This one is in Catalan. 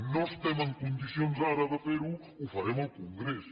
no estem en condicions ara de fer ho ho farem al congrés